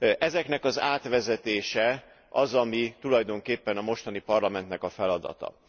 Ezeknek az átvezetése az, ami tulajdonképpen a mostani Parlamentnek a feladata.